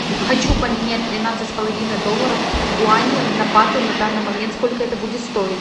хочу поменять тринадцать с половиной долларов гуани на баты на данный момент сколько это будет стоить